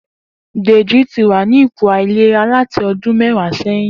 Deji ti wà ni ipó àilérá làtí ọ̀dùn mẹ̀wá sẹ̀yín